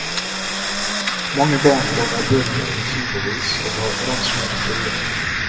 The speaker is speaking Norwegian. Mange barn låner bøker i kilovis og har ransler fulle.